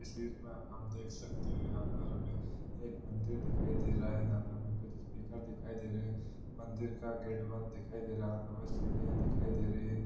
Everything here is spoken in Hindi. तस्वीर में हम देख सकते हैं यहाँ पर हमें एक मंदिर दिखाई दे रहा है| यहाँ पे हमें कुछ स्पीकर दिखाई दे रहे है| मंदिर का गेट बंद दिखाई दे रहा है| यहां पे हमें सीढियाँ दिखाई दे रही हैं।